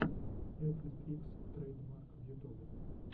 эфлин икс трэйдмарк в ютубе